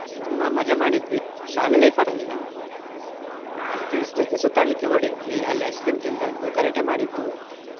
ಎಷ್ಟು ತುಂಬಾ ಮಜಾ ಮಾಡಿದ್ವಿ ಶಾಲೆ life ಅಲ್ಲಿ ನಾವು. ಜೊತೆ ಸುತ್ತಾಡ್ಲಿಕ್ಕೆ ಹೋಗಿದ್ವಿ ಅಲ್ಲಿ ice cream ತಿಂದದ್ದು, ಗಲಾಟೆ ಮಾಡಿದ್ದು.